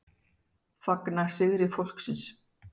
Fagna sigri fólksins